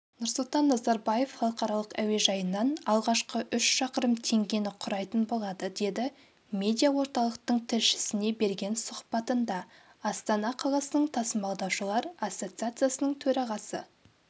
нұрсұлтан назарбаев халықаралық әуежайынан алғашқы үш шақырым теңгені құрайтын болады деді медиа орталықтың тілшісіне берген сұхбатында астана қаласының тасымалдаушылар ассоциациясының төрағасы